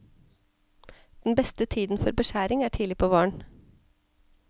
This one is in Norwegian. Den beste tiden for beskjæring er tidlig på våren.